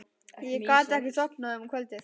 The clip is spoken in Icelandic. Ég gat ekki sofnað um kvöldið.